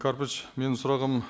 карпович менің сұрағым